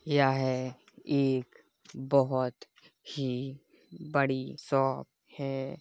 यह एक बहोत ही बड़ी शॉप है।